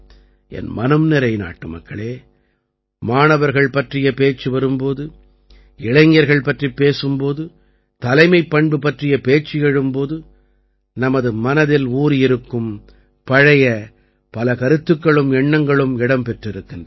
என் மனம்நிறை நாட்டுமக்களே மாணவர்கள் பற்றிய பேச்சு வரும் போது இளைஞர்கள் பற்றிப் பேசும் போது தலைமைப்பண்பு பற்றிய பேச்சு எழும் போது நமது மனதில் ஊறியிருக்கும் பழைய பல கருத்துக்களும் எண்ணங்களும் இடம் பெற்றிருக்கின்றன